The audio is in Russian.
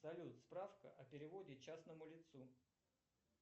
салют справка о переводе частному лицу